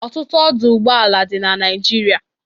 Ọtụtụ ọdụ ụgbọla dị na Naịjirịa.